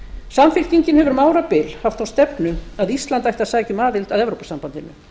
samfylkingin hefur um árabil haft þá stefnu að ísland ætti að sækja um aðild að evrópusambandinu